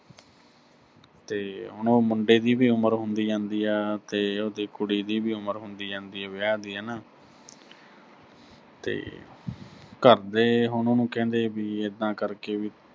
ਤੇ ਹੁਣ ਉਹ ਮੁੰਡੇ ਦੀ ਵੀ ਉਮਰ ਹੁੰਦੀ ਜਾਂਦਾ ਆ, ਤੇ ਉਹਦੀ ਕੁੜੀ ਦੀ ਵੀ ਉਮਰ ਹੁੰਦੀ ਜਾਂਦੀ ਆ ਵਿਆਹ ਦੀ ਹਨਾ ਤੇ ਘਰ ਦੇ ਹੁਣ ਉਹਨੂੰ ਕਹਿੰਦੇ ਵੀ ਏਦਾਂ ਕਰ ਕੇ ਵੀ